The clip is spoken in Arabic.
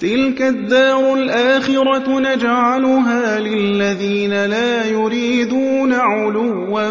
تِلْكَ الدَّارُ الْآخِرَةُ نَجْعَلُهَا لِلَّذِينَ لَا يُرِيدُونَ عُلُوًّا